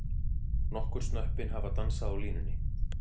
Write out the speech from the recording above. Nokkur snöppin hafa dansað á línunni.